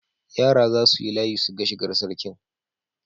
Yara za su yi layi su ga shigar Sarkin.